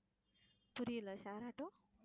புரியல share auto